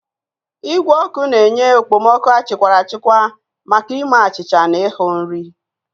Igwe ọkụ na-enye okpomọkụ achịkwara achikwa maka ime achịcha na ịhu nri.